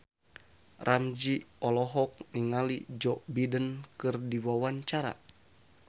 Ramzy olohok ningali Joe Biden keur diwawancara